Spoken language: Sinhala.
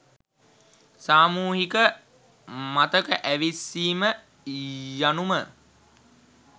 සාමූහික මතක ඇවිස්සීම යනුම